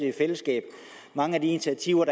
i fællesskab mange af de initiativer